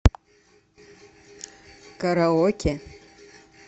караоке